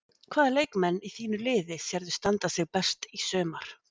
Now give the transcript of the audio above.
Hvaða leikmenn í þínu liði sérðu standa sig best í sumar?